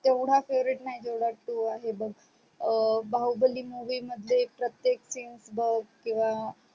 येवडा favorite नाही जेवडा two आहे बग अ बाहुबली movie मध्ये प्रतेक scene बग किवा